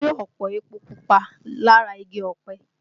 A rí ọ̀pọ̀ epo pupa lára igi ọpẹ